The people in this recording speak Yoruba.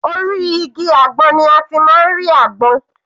Orí igi àgbọn ni a ti máa ń rí àgbọn.